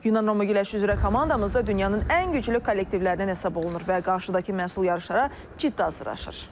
Yunan-Roma güləşi üzrə komandamız da dünyanın ən güclü kollektivlərindən hesab olunur və qarşıdakı məsul yarışlara ciddi hazırlaşır.